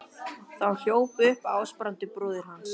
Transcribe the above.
Þá hljóp upp Ásbrandur bróðir hans.